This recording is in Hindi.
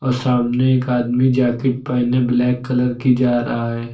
और सामने एक आदमी जाकिट पहिने ब्लैक कलर की जा रहा है।